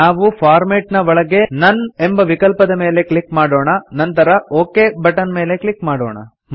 ನಾವು ಫಾರ್ಮ್ಯಾಟ್ ನ ಒಳಗೆ ನೋನ್ ಎಂಬ ವಿಕಲ್ಪದ ಮೇಲೆ ಕ್ಲಿಕ್ ಮಾಡೋಣ ನಂತರ ಒಕ್ ಬಟನ್ ಮೇಲೆ ಕ್ಲಿಕ್ ಮಾಡೋಣ